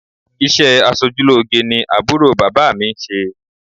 Ìṣe aṣojúlóge ni àbúrò bàbá mi ń ṣe